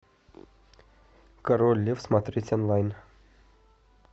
король лев смотреть онлайн